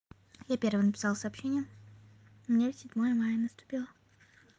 я первая написала сообщения у меня седьмое мая наступило